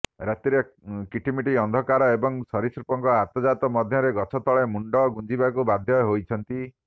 ରାତିରେ କିଟିମିଟି ଅନ୍ଧାର ଏବଂ ସରୀସୃପଙ୍କ ଆତଯାତ ମଧ୍ୟରେ ଗଛ ତଳେ ମୁଣ୍ଡ ଗୁଞ୍ଜିବାକୁ ବାଧ୍ୟ ହୋଇଛନ୍ତି